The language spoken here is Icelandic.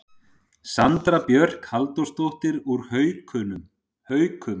Sandra Björk Halldórsdóttir úr Haukum